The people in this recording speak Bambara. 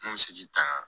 N kun se k'i ta